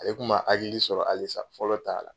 E kun ma hakili sɔrɔ alisa fɔlɔ ta la?